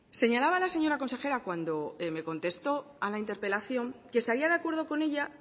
señalaba la señora consejera cuando me contestó a la interpelación que estaría de acuerdo con ella